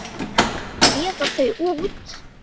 Að gefa þau út!